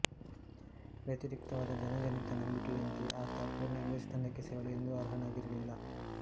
ವ್ಯತಿರಿಕ್ತವಾದ ಜನಜನಿತ ನಂಬುಗೆಯಂತೆ ಆತ ಪೂರ್ಣ ಇಂಗ್ಲಿಷ್ ತಂಡಕ್ಕೆ ಸೇರಲು ಎಂದೂ ಅಹರ್ಯನಾಗಿರಲಿಲ್ಲ